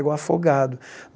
Igual afogado.